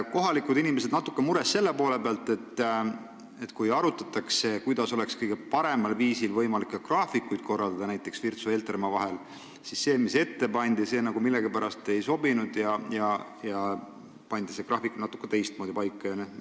Kohalikud inimesed on natuke mures selle pärast, et kui arutati, kuidas oleks võimalik kõige paremal viisil Virtsu ja Heltermaa vahelisi sõiduaegu korraldada, siis see, mis ette pandi, millegipärast ei sobinud ja graafik seati paika natukene teistmoodi.